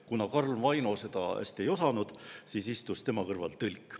Kuna Karl Vaino seda hästi ei osanud, siis istus tema kõrval tõlk.